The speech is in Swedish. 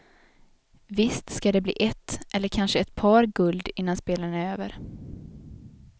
Visst ska det bli ett, eller kanske ett par, guld innan spelen är över.